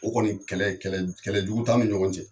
O kɔni kɛlɛ jugu t'an ni ɲɔgɔn cɛ